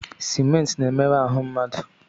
Simenti na-emerụ ahụ mmadụ.